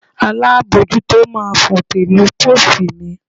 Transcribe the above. Alábojútó máa fòǹtẹ̀ lu póòstì mi